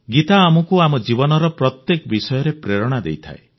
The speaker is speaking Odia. ଗୀତା ଆମକୁ ଆମ ଜୀବନର ପ୍ରତ୍ୟେକ ବିଷୟରେ ପ୍ରେରଣା ଦେଇଥାଏ